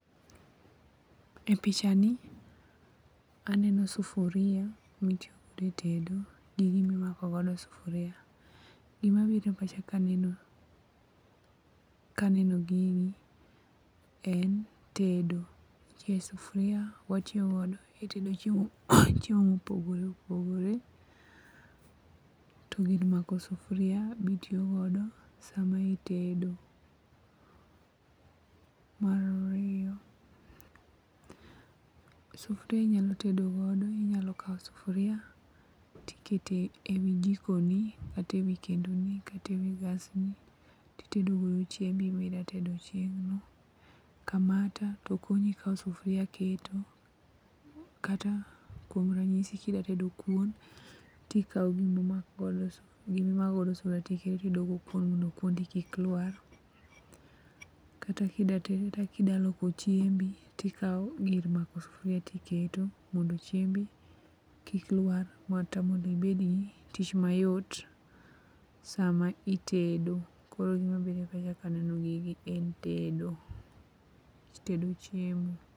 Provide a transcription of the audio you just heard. E pichani aneno sufuria mitiyogodo e tedo gi gimimako godo sufuria. Gima biro e pacha kaneno gini en tedo. Sufuria watiyogodo e tedo[iko duonde] chiemo mopogore opogore to gir mako sufuria be itiyogodo sama itedo. Mar ariyo, sufria inyalo tedo godo inyalo kawo sufria tikete wi jikoni kata e wi kendoni kata e wi gasni titedogo chiembi midatedo chieng'no. Kamata to konyi kawo sufria keto, kata kuom ranyisi kidatedo kuon, tikawo gino imakgodo sufria titedo go kuon mondo kuondi kik lwar. Kata kidaloko chiembi tikawo gir mako sufria tiketo mondo chiembi kik lwar ma temo mondo ibed gi tich mayot sama itedo, koro gima biro e pacha kaneno gigi en tedo tedo chiemo.